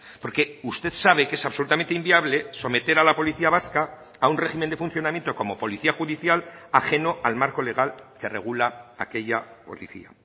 porque usted sabe que es absolutamente inviable someter a la policía vasca a un régimen de funcionamiento como policía judicial ajeno al marco legal que regula aquella policía